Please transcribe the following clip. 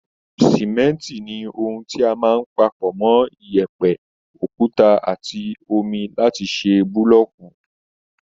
Sìmẹ́ǹtì ni ohun tí a máa ń pa pọ̀ mọ́ yẹ̀pẹ̀, okúta àtti omi laáti ṣe búlọ́ọ̀kù